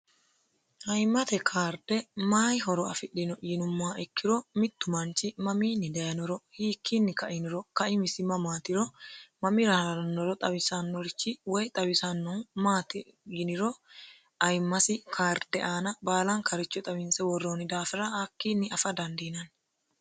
ayiimmate karde mayi horo afidhino yinummoha ikkiro mittu manchi mamiinni dayiniro hiikkiinni kainiro kaimisimi maatiro mamira haranoro xawisannorichi woy xawisannohu maati yiniro ayimasi karde aana baalan karicho xawinse worroonni daafira hakkiinni afa dandiinanni